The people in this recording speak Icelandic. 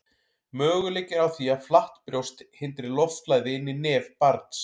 möguleiki er á því að flatt brjóst hindri loftflæði inn í nef barns